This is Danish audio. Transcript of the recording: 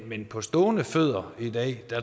men på stående fødder i dag